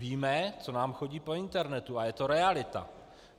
Víme, co nám chodí po internetu, a je to realita.